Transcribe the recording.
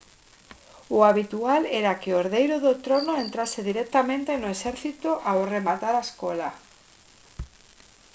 o habitual era que o herdeiro do trono entrase directamente no exército ao rematar a escola